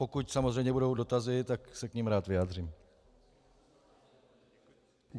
Pokud samozřejmě budou dotazy, tak se k nim rád vyjádřím.